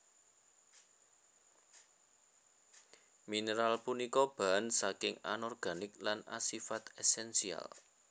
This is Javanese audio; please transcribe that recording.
Mineral punika bahan saking Anorganik lan asifat esensial